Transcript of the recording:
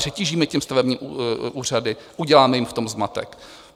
Přetížíme tím stavební úřady, uděláme jim v tom zmatek.